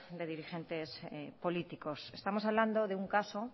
de dirigentes políticos estamos hablando de un caso